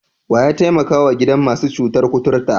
Wa ya taimakawa gidan masu cutar kuturta?